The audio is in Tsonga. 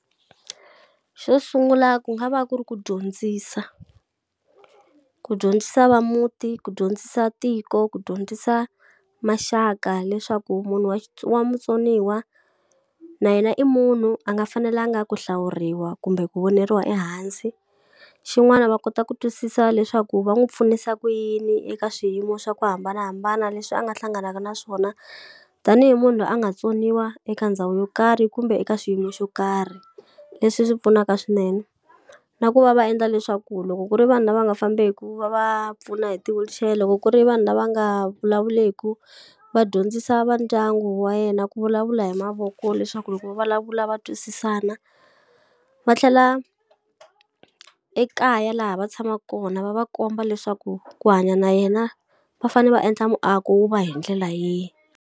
Xo sungula ku nga va ku ri ku dyondzisa. Ku dyondzisa va muti, ku dyondzisa tiko, ku dyondzisa maxaka, leswaku munhu wa wa mutsoniwa na yena i munhu a nga fanelanga ku hlawuriwa kumbe ku voniwa ehansi. Xin'wana va kota ku twisisa leswaku va n'wi pfunisa ku yini eka swiyimo swa ku hambanahambana leswi a nga hlanganaka na swona tanihi munhu loyi a nga tsoniwa eka ndhawu yo karhi kumbe eka xiyimo xo karhi, leswi swi pfunaka swinene. Na ku va va endla leswaku loko ku ri vanhu lava nga fambeki, ku va va pfuna hi ti-wheelchair, loko ku ri vanhu lava nga vulavuleki, va dyondzisa va ndyangu wa yena ku vulavula hi mavoko leswaku loko va vulavula va twisisana. Va tlhela ekaya laha va tshamaka kona va va komba leswaku ku hanya na yena, va fanele va endla muako wu va hi ndlela yihi.